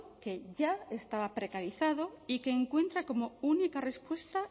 que ya estaba precarizado y que encuentra como única respuesta